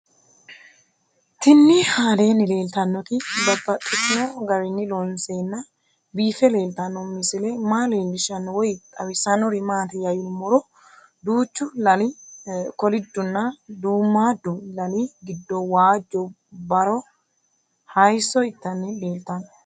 Tinni aleenni leelittannotti babaxxittinno garinni loonseenna biiffe leelittanno misile maa leelishshanno woy xawisannori maattiya yinummoro duuchu lali kolidunna duumaadu lali giddo waajjo baro hayiisso ittanni leelattanno